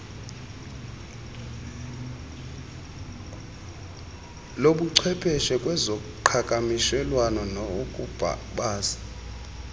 lobuchwepeshe kwezoqhakamshelwano ukubasi